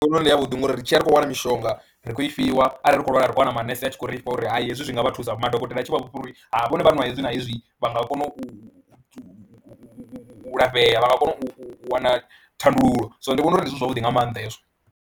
Ndi vhona u nga ndi yavhuḓi ngori ri tshi ya ri khou wana mishonga ri khou i fhiwa arali ri khou lwala ri khou wana manese a tshi khou ri fha uri hai hezwi zwi nga vha thusa, madokotela a tshi vha vhudza uri vhona vha nw hezwi na hezwi vha nga kona u u u u lafhea, vha nga kona u u u wana thandululo, so ndi vhona uri ndi zwavhuḓi nga maanḓa hezwo.